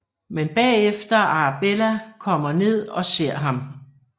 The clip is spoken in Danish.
Men bagefter Arabella kommer ned og ser ham